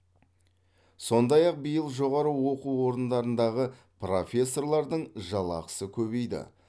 сондай ақ биыл жоғары оқу орындарындағы профессорлардың жалақысы көбейді